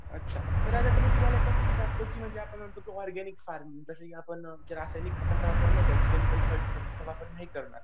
अच्छा तर मी आता तुम्हाला एक असं विचारतो की आपण म्हणतो ऑरगॅनिक फार्म जे आपण रासायनिक खतांचा वापर केमिकल्स वापर नाही करणार.